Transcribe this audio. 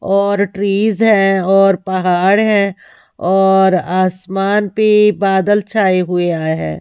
और ट्रीज है और पहाड़ है और आसमान पे बादल छाए हुए आए हैं।